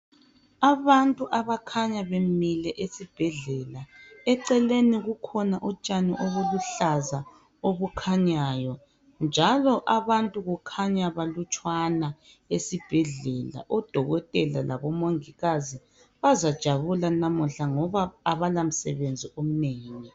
Abantu abakhanya bemile esibhedlela eceleni kukhona utshani obuluhlaza obukhanyayo njalo abantu kukhanya balutshwana esibhedlela odokotela labomongikazi bazajabula namuhla ngoba abala msebenzi omnengi.